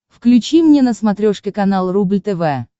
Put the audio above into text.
включи мне на смотрешке канал рубль тв